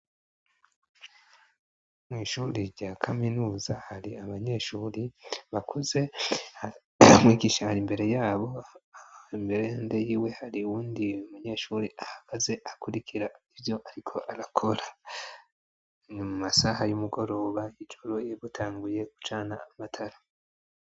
Mw'ishure rya kaminuza, hari abanyeshuri bakuze, mwigisha ar'imbere yabo, impande yiwe hari wundi umunyeshuri ahagaze akurikira ivyo ariko arakora, mu masaha y'umugoroba, ijoro, batanguye gucana amatara.